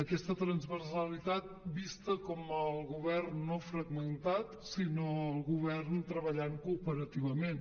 aquesta transversalitat vista com el govern no fragmentat sinó el govern treballant cooperativament